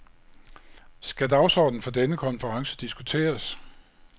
Skal dagsordenen for denne konference diskuteres?